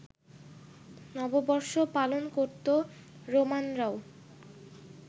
নববর্ষ পালন করত রোমানরাও